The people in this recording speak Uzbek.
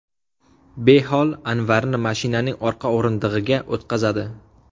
Behol Anvarni mashinaning orqa o‘rindig‘iga o‘tqazadi.